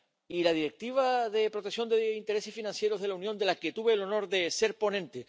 Y la Directiva de protección de intereses financieros de la Unión, de la que tuve el honor de ser ponente.